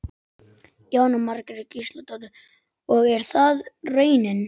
Höfðu karlarnir kannski lært að dansa í millitíðinni?